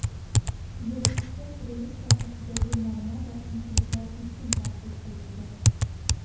Yig‘ilishda qurilish sohasidagi muammo va kamchiliklar keskin tanqid qilindi.